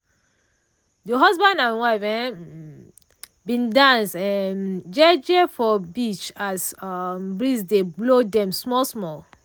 de husband and wife um bin dance um jeje for beach as um breeze dey blow dem small small.